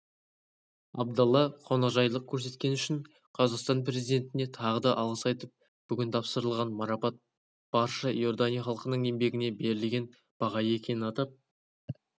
абдалла қонақжайлық көрсеткені үшін қазақстан президентіне тағы да алғыс айтып бүгін тапсырылған марапат барша иордания халқының еңбегіне берілген баға екенін атап